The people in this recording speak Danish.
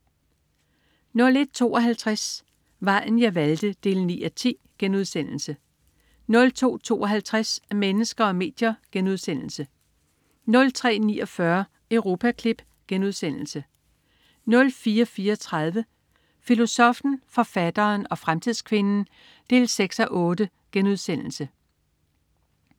01.52 Vejen jeg valgte 9:10* 02.52 Mennesker og medier* 03.49 Europaklip* 04.34 Filosoffen, forfatteren og fremtidskvinden 6:8*